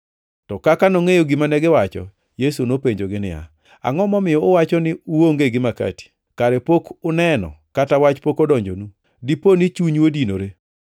To kaka nongʼeyo gima negiwacho, Yesu nopenjogi niya, “Angʼo momiyo uwacho ni uonge gi makati? Kare pok uneno kata wach pok odonjonu? Dipo ni chunyu odinore?